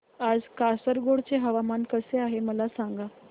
आज कासारगोड चे हवामान कसे आहे मला सांगा